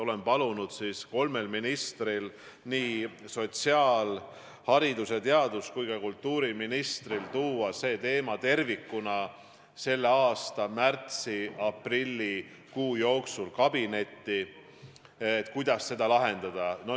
Olen palunud kolmel ministril – nii sotsiaal-, haridus- ja teadus- kui ka kultuuriministril – tuua see teema tervikuna selle aasta märtsi-aprilli jooksul kabinetti, et saaksime otsustada, kuidas seda lahendada.